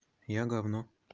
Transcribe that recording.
я гавно